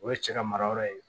O ye cɛ ka mara yɔrɔ ye